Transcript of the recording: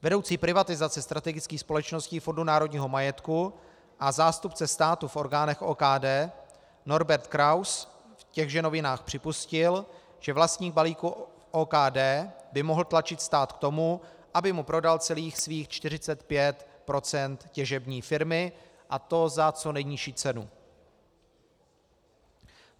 Vedoucí privatizace strategických společností Fondu národního majetku a zástupce státu v orgánech OKD Norbert Kraus v těchže novinách připustil, že vlastník balíku OKD by mohl tlačit stát k tomu, aby mu prodal celých svých 45 % těžební firmy, a to za co nejnižší cenu.